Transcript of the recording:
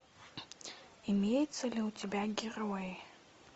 имеется ли у тебя герои